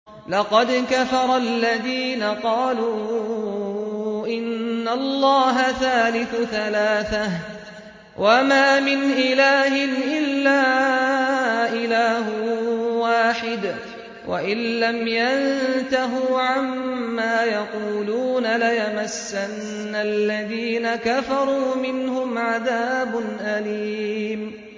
لَّقَدْ كَفَرَ الَّذِينَ قَالُوا إِنَّ اللَّهَ ثَالِثُ ثَلَاثَةٍ ۘ وَمَا مِنْ إِلَٰهٍ إِلَّا إِلَٰهٌ وَاحِدٌ ۚ وَإِن لَّمْ يَنتَهُوا عَمَّا يَقُولُونَ لَيَمَسَّنَّ الَّذِينَ كَفَرُوا مِنْهُمْ عَذَابٌ أَلِيمٌ